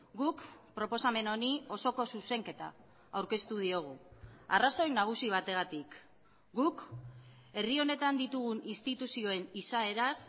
guk proposamen honi osoko zuzenketa aurkeztu diogu arrazoi nagusi bategatik guk herri honetan ditugun instituzioen izaeraz